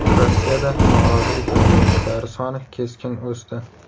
Rossiyada norozilik namoyishlari soni keskin o‘sdi.